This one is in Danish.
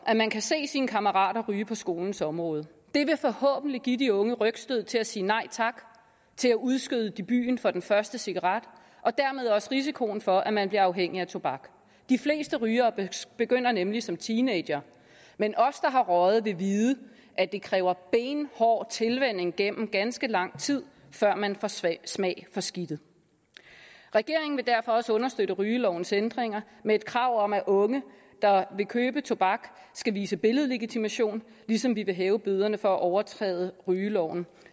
at man kan se sine kammerater ryge på skolens område det vil forhåbentlig give de unge et rygstød til at sige nej tak til at udskyde debuten for den første cigaret og dermed også risikoen for at man bliver afhængig af tobak de fleste rygere begynder nemlig som teenagere men os der har røget vil vide at det kræver benhård tilvænning gennem ganske lang tid før man får smag smag for skidtet regeringen vil derfor også understøtte rygelovens ændringer med et krav om at unge der vil købe tobak skal vise billedlegitimation ligesom den vil hæve bøderne for at overtræde rygeloven